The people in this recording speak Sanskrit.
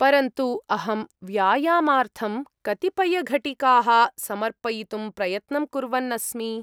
परन्तु अहं व्यायामार्थं कतिपयघटिकाः समर्पयितुं प्रयत्नं कुर्वन् अस्मि।